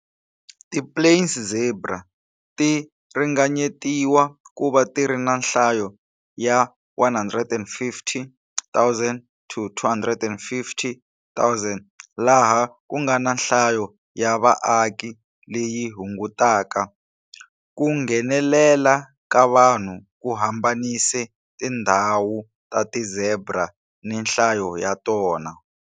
Ti plains zebra ti ringanyetiwa kuva tiri na nhlayo ya 150,000-250,000 laha kungana nhlayo ya vaaki leyi hungutaka. Ku nghenelela ka vanhu ku hambanise tindhawu ta ti-zebra ni nhlayo ya tona.